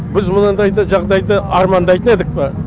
біз мынандайды жағдайды армандайтын едік пе